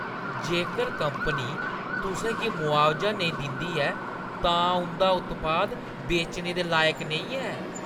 जेकर कंपनी तुसें गी मुआबजा नेईं दिंदी ऐ, तां उंʼदा उत्पाद बेचने दे लायक नेईं ऐ।